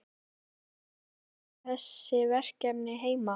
Á maður svo að leysa þessi verkefni heima?